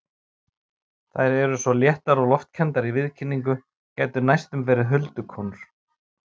Þær eru svo léttar og loftkenndar í viðkynningu, gætu næstum verið huldukonur.